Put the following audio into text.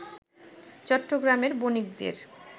চট্টগ্রামের বণিকদের